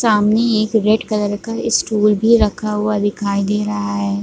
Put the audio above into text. सामने एक red colour का स्टूल भी रखा हुआ दिखाई दे रहा है।